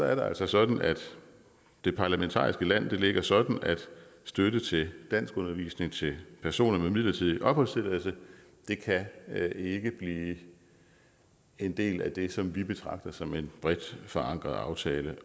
er det altså sådan at det parlamentariske landskab ligger sådan at støtte til danskundervisning til personer med en midlertidig opholdstilladelse ikke kan blive en del af det som vi betragter som en bredt forankret aftale